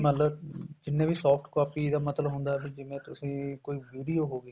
ਮੰਨਲੋ ਜਿੰਨੀ ਵੀ soft copies ਦਾ ਮਤਲਬ ਹੁੰਦਾ ਵੀ ਜਿਵੇਂ ਤੁਸੀਂ ਕੋਈ video ਹੋਗੀ